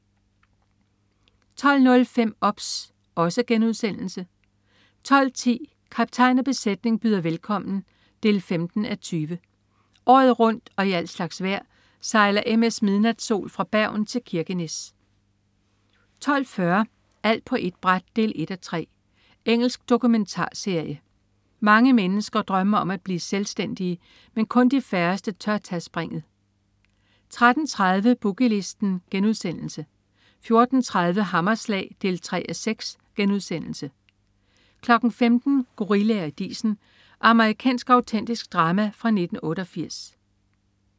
12.05 OBS* 12.10 Kaptajn og besætning byder velkommen 15:20. Året rundt og i al slags vejr sejler MS "Midnatsol" fra Bergen til Kirkenes 12.40 Alt på ét bræt 1:3. Engelsk dokumentarserie. Mange mennesker drømmer om at blive selvstændige, men kun de færreste tør tage springet 13.30 Boogie Listen* 14.30 Hammerslag 3:6* 15.00 Gorillaer i disen. Amerikansk autentisk drama fra 1988